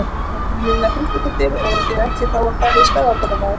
María Lilja Þrastardóttir: Og þið ætlið þá að fara í skaðabótamál?